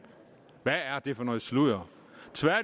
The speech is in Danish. hvad er det for noget sludder